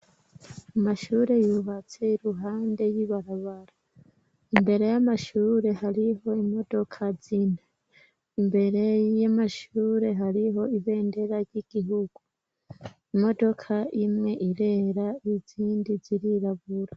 Amashure yubatse iruhande y'ibarabara imbere y'amashure hariho imodoka zine imbere y'amashure hariho ibendera ry'igihugu imodoka imwe irera izindi zirirabura.